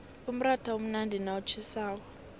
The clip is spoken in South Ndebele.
umratha umnandi nawutjhisako